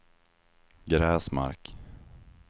Gräsmark